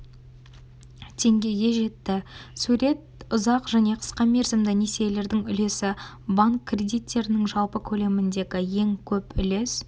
теңгеге жетті сурет ұзақ және қысқа мерзімді несиелердің үлесі банк кредиттерінің жалпы көлеміндегі ең көп үлес